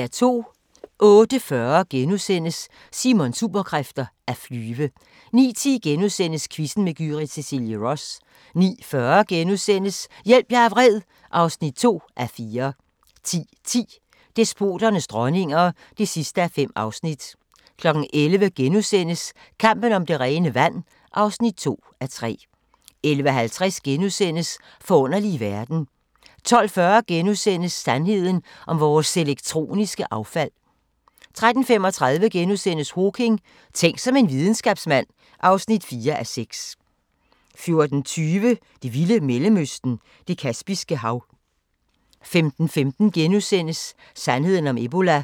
08:40: Simons Superkræfter: At flyve * 09:10: Quizzen med Gyrith Cecilie Ross * 09:40: Hjælp, jeg er vred (2:4)* 10:10: Despoternes dronninger (5:5) 11:00: Kampen om det rene vand (2:3)* 11:50: Forunderlige verden * 12:40: Sandheden om vores elektroniske affald * 13:35: Hawking: Tænk som en videnskabsmand (4:6)* 14:20: Det vilde Mellemøsten – Det Kaspiske Hav 15:15: Sandheden om ebola *